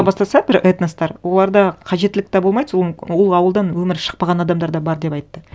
бастаса бір этностар оларда қажеттілік те болмайды сол ол ауылдан өмірі шықпаған адамдар да бар деп айтты